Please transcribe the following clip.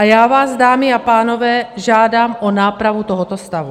A já vás, dámy a pánové, žádám o nápravu tohoto stavu.